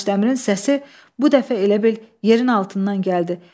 Daşdəmirin səsi bu dəfə elə bil yerin altından gəldi.